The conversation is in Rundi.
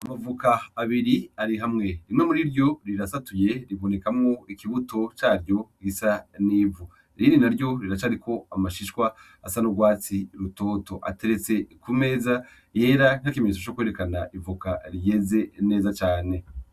Amavoka abiri ari hamwe, rimwe muri ryo rirasatuye ribonekamwo ikibuto caryo risa n’ivu irindi naryo riracariko amashishwa asa n’urwatsi rutoto ateretse ku meza yera nk’ikimenyetso co kwerekana Ivoka rimeze neza cane .